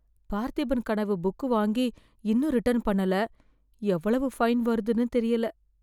Parthiban Kanavu book வாங்கி இன்னும் return பண்ணல, எவ்வளவு ஃபைன் வருதுன்னு தெரியல.